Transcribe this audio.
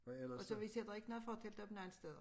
Og så vi sætter ikke noget fortelt op nogen steder